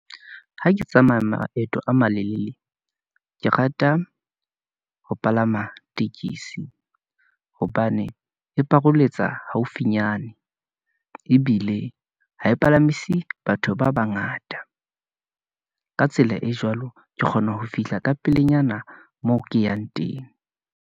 Ha ke tsamaya maeto a malelele , ke rata ho palama tekesi, hobane e paroletsa haufinyane, ebile ha e palamisa batho ba bangata . Ka tsela e jwalo, ke kgona ho fihla ka pelenyana moo ke yang teng.